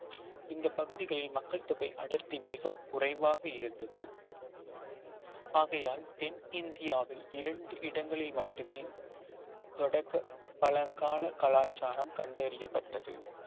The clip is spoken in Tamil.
இந்த பகுதிகளில் மக்கள் தொகை அடர்த்தி மிகக் குறைவாக இருந்தது ஆகையால் தென் இந்தியாவில் இரண்டு இடங்களில் மட்டுமே தொடக்க பழங்கால கலாச்சாரம் கண்டறியப்பட்டது